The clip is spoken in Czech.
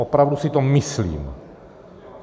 Opravdu si to myslím.